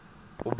opbrengs